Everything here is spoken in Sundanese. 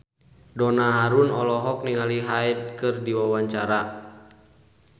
Donna Harun olohok ningali Hyde keur diwawancara